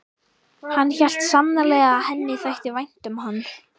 Hann hélt sannarlega að henni þætti vænt um hann.